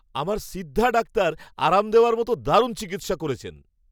আমার সিদ্ধা ডাক্তার আরাম দেওয়ার মতো দারুণ চিকিৎসা করেছেন।